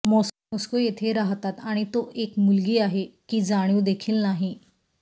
Moscow येथे राहतात आणि तो एक मुलगी आहे की जाणीव देखील नाही